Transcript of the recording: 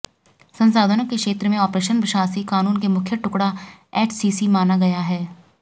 संसाधनों के क्षेत्र में आपरेशन शासी कानून के मुख्य टुकड़ा एचसीसी माना जाता है